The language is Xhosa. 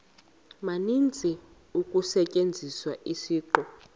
maninzi kusetyenziswa isiqu